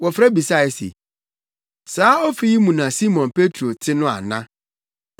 Wɔfrɛ bisae se, “Saa ofi yi mu na Simon Petro te no ana?”